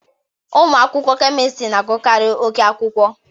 Ụmụ akwụkwọ Kemistịrị na agụkari oké akwụkwọ